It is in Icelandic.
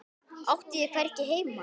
Átti ég hvergi heima?